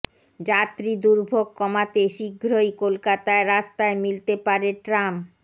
যাত্রী দুর্ভোগ কমাতে শীঘ্রই কলকাতার রাস্তায় মিলতে পারে ট্রাম